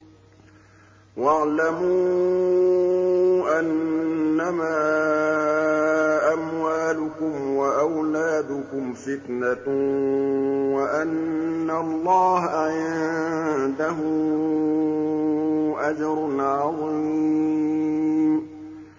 وَاعْلَمُوا أَنَّمَا أَمْوَالُكُمْ وَأَوْلَادُكُمْ فِتْنَةٌ وَأَنَّ اللَّهَ عِندَهُ أَجْرٌ عَظِيمٌ